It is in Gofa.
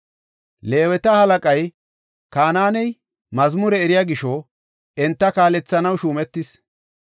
Leeweta halaqay Kanaaney mazmure eriya gisho enta kaalethanaw shuumetis.